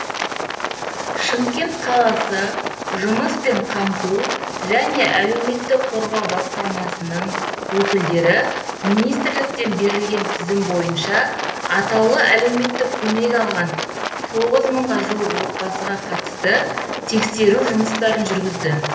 шымкент қаласы жұмыспен қамту және әлеуметтік қорғау басқармасының өкілдері министрліктен берілген тізім бойынша атаулы әлеуметтік көмек алған тоғыз мыңға жуық отбасыға қатысты тексеру жұмыстарын жүргізді